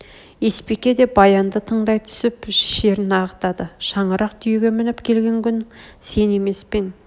есбике де баянды тыңдай түсіп шерін ағытады шаңырақ түйеге мініп келген күң сен емес пе ең